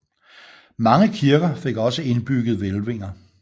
Mange kirker fik ogsâ indbygget hvælvinger